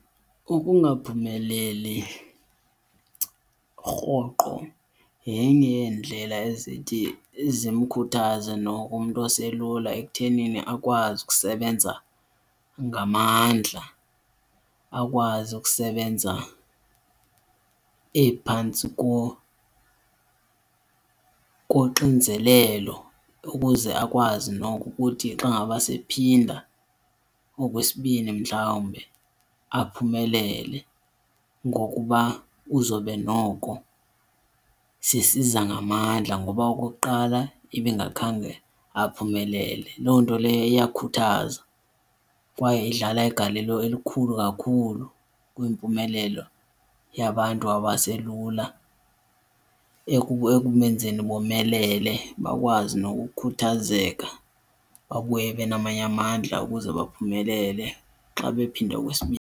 Ukungaphumeleli rhoqo yenye yeendlela ezithi zimkhuthaze noko umntu oselula ekutheni akwazi ukusebenza ngamandla, akwazi ukusebenza ephantsi koxinzelelo ukuze akwazi noko ukuthi xa ngaba sephinda okwesibini mhlawumbe aphumelele. Ngokuba uzobe noko sesiza ngamandla ngoba okokuqala ebengakhange aphumelele. Loo nto leyo iyakhuthaza kwaye idlala igalelo elikhulu kakhulu kwimpumelelo yabantu abaselula ekubenzeni bomelele bakwazi nokukhuthazeka babuye benamanye amandla ukuze baphumelele xa bephinda okwesibini.